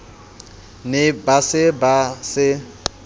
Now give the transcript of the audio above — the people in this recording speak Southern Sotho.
ne ba se ba se